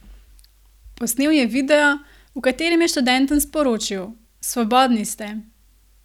Posnel je video, v katerem je študentom sporočil: "Svobodni ste!